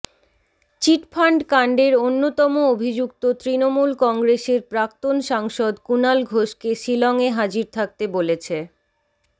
চিটফাণ্ড কাণ্ডের অন্যতম অভিযুক্ত তৃণমূল কংগ্রেসের প্রাক্তন সাংসদ কুণাল ঘোষকে শিলংয়ে হাজির থাকতে বলেছে